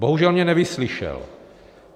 Bohužel mě nevyslyšel.